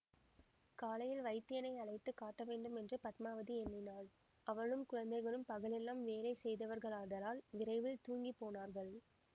காலையில் வைத்தியனை அழைத்து காட்டவேண்டுமென்று பத்மாவதி எண்ணினாள் அவளும் குழந்தைகளும் பகலெல்லாம் வேலை செய்தவர்களாதலால் விரைவில் தூங்கிப் போனார்கள்